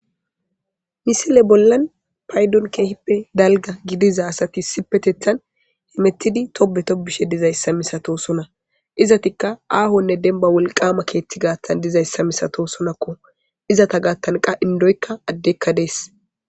Misile bollan paydon keehippe dalga gidiza asati sipetethan hemettidi tobe to bishe dizayssa misato sona izatikka aahonne denba wolqama keeththi gaattan dizayssa misato sonakko izata gaattan qa indoykka addekka dees.